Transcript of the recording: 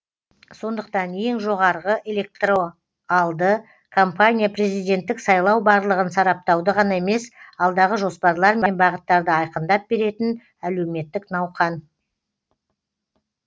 сондықтан ең жоғарғы электоралды кампания президенттік сайлау барлығын сараптауды ғана емес алдағы жоспарлар мен бағыттарды айқындап беретін әлеуметтік науқан